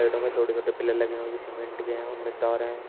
साइडों में छोटे छोटे पिलर लगे हुए हैं जो सीमेंट के हैं उनमें तार है।